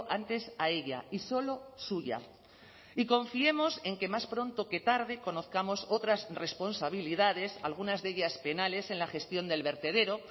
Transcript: antes a ella y solo suya y confiemos en que más pronto que tarde conozcamos otras responsabilidades algunas de ellas penales en la gestión del vertedero